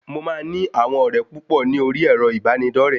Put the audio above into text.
Mo máa ní àwọn ọ̀rẹ́ púpọ̀ ní orí ẹ̀rọ ìbánidọ́rẹ̀ẹ́